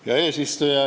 Hea eesistuja!